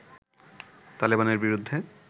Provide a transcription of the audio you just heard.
তালেবানের বিরুদ্ধে